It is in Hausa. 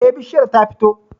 Eh, bishiyar ta fito